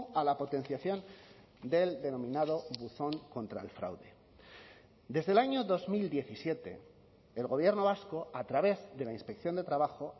a la potenciación del denominado buzón contra el fraude desde el año dos mil diecisiete el gobierno vasco a través de la inspección de trabajo